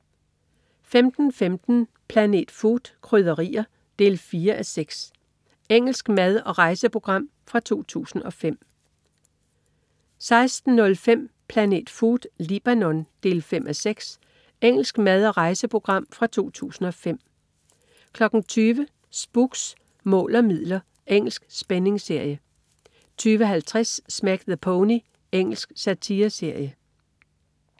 15.15 Planet Food: Krydderier. 4:6 Engelsk mad/rejseprogram fra 2005 16.05 Planet Food: Libanon. 5:6 Engelsk mad/rejseprogram fra 2005 20.00 Spooks: Mål og midler. Engelsk spændingsserie 20.50 Smack the Pony. Engelsk satireserie